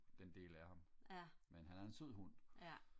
den del af ham men han er en sød hund